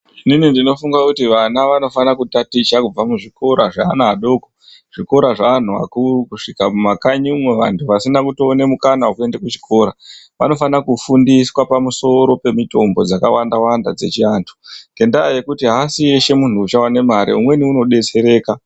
Inini ndinofunge kuti vana vanofane kutaticha kubve kuzvikora zveana adoko zvikora zveanhu akuru kusvika mumakanyi umwo antu asina kuone mukana wekuend ekuchikora vanofana kufundiswa pamusoro pemutombo dzakawanda wanda dzechiantu ngendaa yekuti aasi Eshe munhu uchaone mare umweni unodetsereka.